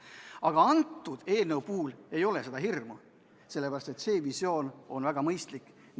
Aga kõnealuse eelnõu puhul ei ole seda hirmu, sellepärast et see visioon on väga mõistlik.